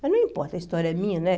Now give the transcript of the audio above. Mas não importa, a história é minha, né?